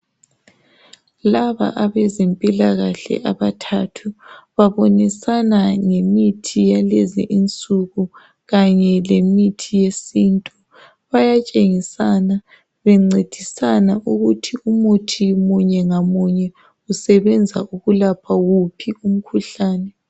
Laba abezemphikahle abathathu babonisana lemithi yalezi insuku kanye lemithi yesintu. Bayathengisana bencedisana ukuthi umuthi munye ngamunye usebenza ukulapha uphi umkhuhlane.